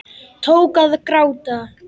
Tók að gráta.